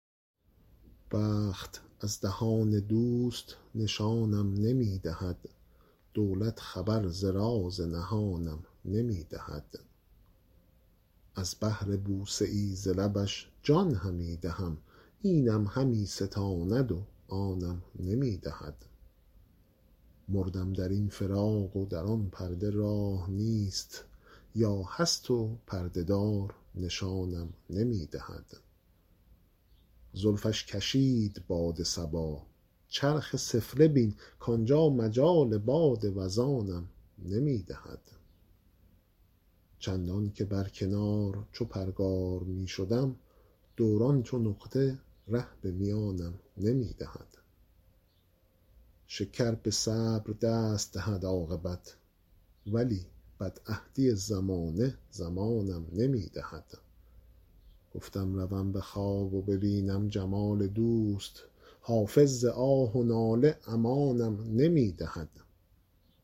بخت از دهان دوست نشانم نمی دهد دولت خبر ز راز نهانم نمی دهد از بهر بوسه ای ز لبش جان همی دهم اینم همی ستاند و آنم نمی دهد مردم در این فراق و در آن پرده راه نیست یا هست و پرده دار نشانم نمی دهد زلفش کشید باد صبا چرخ سفله بین کانجا مجال باد وزانم نمی دهد چندان که بر کنار چو پرگار می شدم دوران چو نقطه ره به میانم نمی دهد شکر به صبر دست دهد عاقبت ولی بدعهدی زمانه زمانم نمی دهد گفتم روم به خواب و ببینم جمال دوست حافظ ز آه و ناله امانم نمی دهد